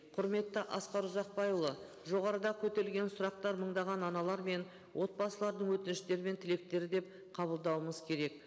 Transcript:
құрметті асқар ұзақбайұлы жоғарыда көтерілген сұрақтар мыңдаған аналар мен отбасылардың өтініштері мен тілектері деп қабылдауымыз керек